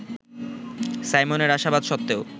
সাইমনের আশাবাদ সত্ত্বেও